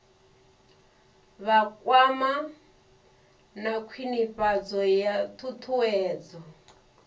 vhakwama na khwinifhadzo ya ṱhuṱhuwedzo